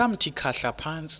samthi khahla phantsi